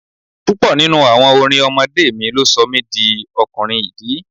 Púpọ̀ nínú àwọn orin ọmọdé mi ló sọ mi di ọkùnrin ìdí.